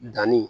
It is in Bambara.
Danni